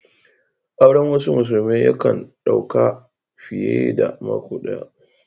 Auren wasu musulmai ya kan dau ka fiye da mako daya.